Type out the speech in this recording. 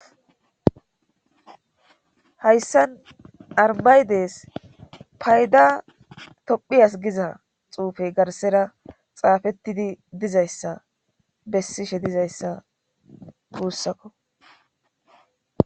hayssan armaydes payda tophiyas giza xuufey garsera xaafettidi dizayssa bessishe dizayssa guussakko